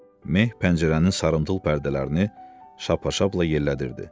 Meh pəncərənin sarımtıl pərdələrini şapp-şappla yellədirdi.